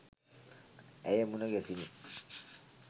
ඇය මුණ ගැසිණි.